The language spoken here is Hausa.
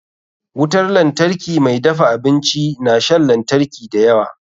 Wutar lantarki mai dafa abinci na shan lantari da yawa.